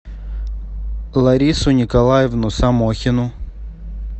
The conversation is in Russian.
ларису николаевну самохину